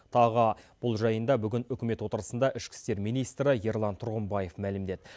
тағы бұл жайында бүгін үкімет отырысында ішкі істер министрі ерлан тұрғымбаев мәлімдеді